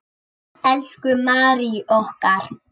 Elsku Mary okkar.